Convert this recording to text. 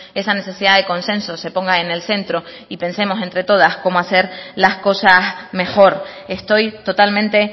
esa necesidad de consenso se ponga en el centro y pensemos entre todas cómo hacer las cosas mejor estoy totalmente